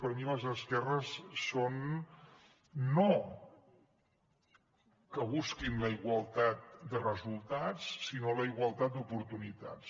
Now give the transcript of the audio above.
per mi les esquerres són no que busquin la igualtat de resultats sinó la igualtat d’oportunitats